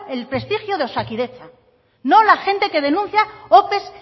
el prestigio de osakidetza no la gente que denuncia ope